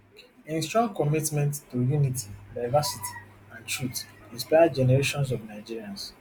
im strong commitment to unity diversity and truth inspire generations of nigerians